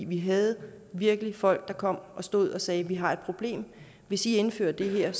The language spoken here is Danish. vi havde virkelig folk der kom og stod og sagde vi har et problem hvis i indfører det her